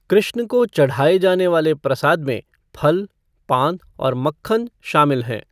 कृष्ण को चढ़ाए जाने वाले प्रसाद में फल, पान और मक्खन शामिल हैं।